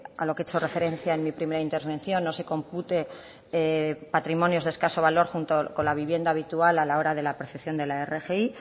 a lo que he hecho referencia en mi primera intervención no se compute patrimonios des escaso valor junto con la vivienda habitual a la hora de la percepción de la rgi